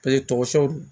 tɔgɔ sɛbɛ